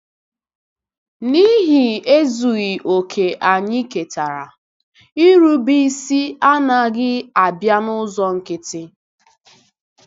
N'ihi ezughị okè anyị ketara, irube isi anaghị abịa n'ụzọ nkịtị.